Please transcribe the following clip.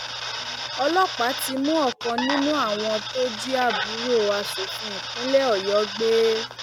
ọlọpàá ti mú ọkan nínú àwọn tó jí àbúrò asòfin ìpínlẹ ọyọ gbé